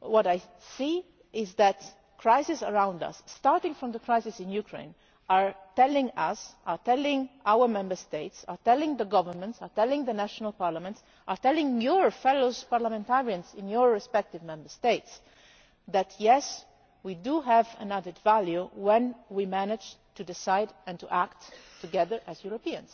What I see is that crises around us, starting from the crisis in Ukraine, are telling us, are telling our Member States, are telling the governments, are telling the national parliaments, are telling your fellow parliamentarians in your respective Member States that, yes, we do have an added value when we manage to decide and to act together as Europeans.